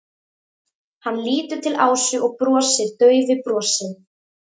Hann lítur til Ásu og brosir daufu brosi.